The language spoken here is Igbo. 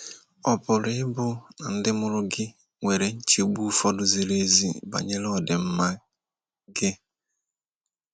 ọ pụrụ ịbụ na ndị mụrụ gị nwere nchegbu ụfọdụ ziri ezi banyere ọdịmma gị?